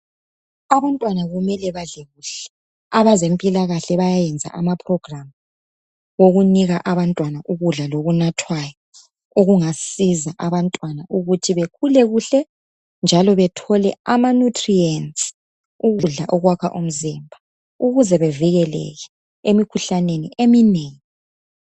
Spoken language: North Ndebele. Abantwana kumele badle kuhle. Abezempilakahle bayayenza amaprogiramu okunika abantwana ukudla lokunathwayo okungasiza abantwana ukuthi bekhule kuhle, njalo bethole amanyutriyentsi, ukudla okwakha umzimba, ukuze bevikeleke emikhuhlaneni eminengi.